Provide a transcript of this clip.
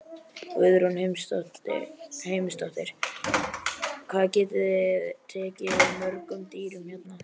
Guðrún Heimisdóttir: Hvað getið þið tekið við mörgum dýrum hérna?